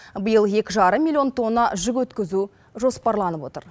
биыл екі жарым миллион тонна жүк өткізу жоспарланып отыр